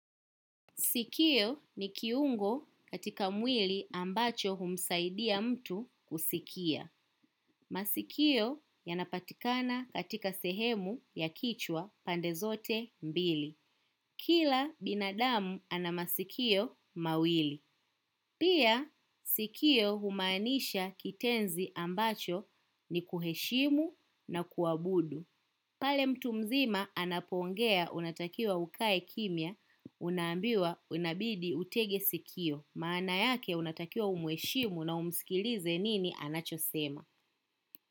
Sikio ni kiungo katika mwili ambacho humsaidia mtu kusikia. Masikio yanapatikana katika sehemu ya kichwa pande zote mbili. Kila binadamu ana masikio mawili. Pia sikio humaanisha kitenzi ambacho ni kuheshimu na kuabudu. Pale mtu mzima anapongea unatakiwa ukae kimia unambiwa unabidi utege sikio maana yake unatakiwa umueshimu na umsikilize nini anachosema.